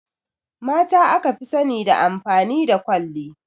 Mata aka fi sani da amfani da kwalli